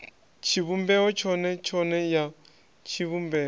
tshivhumbeo tshone tshone ya tshivhumbeo